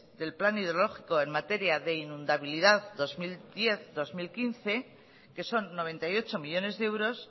del plan hidrológico en materia de inundabilidad dos mil diez dos mil quince que son noventa y ocho millónes de euros